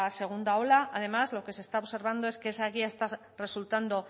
segunda ola además lo que se está observando es que esa guía está resultando